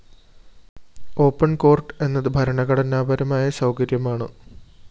open court എന്നത് ഭരണഘടനാപരമായ സൗകര്യമാണ്